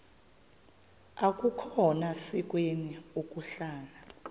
akukhona sikweni ukuhlala